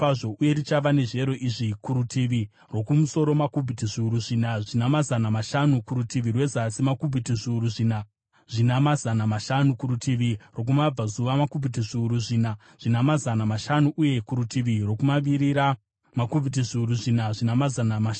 uye richava nezviyero izvi: kurutivi rwokumusoro makubhiti zviuru zvina namazana mashanu, kurutivi rwezasi makubhiti zviuru zvina namazana mashanu, kurutivi rwokumabvazuva, makubhiti zviuru zvina namazana mashanu, uye kurutivi rwokumavirira, makubhiti zviuru zvina namazana mashanu.